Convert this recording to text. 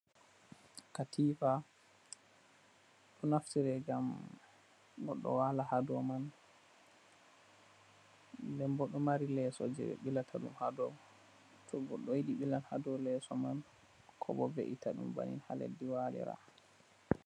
Katifa. Ɗo naftire ngam goɗɗo waala haa dow man, nden bo ɗo mari leeso je ɓe ɓilata haa dow, to goɗɗo yiɗi ɓilan haa dow leeso man, ko bo ve'ita ɗum bannin haa leddi waalira.